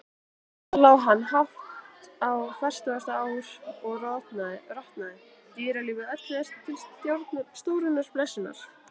Þar lá hann hátt á fertugasta ár og rotnaði, dýralífi öllu til stórrar blessunar.